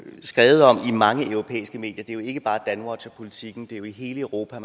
skrevet om i mange europæiske medier det er ikke bare danwatch og politiken det er jo i hele europa